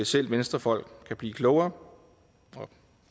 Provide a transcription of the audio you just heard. selv venstrefolk kan blive klogere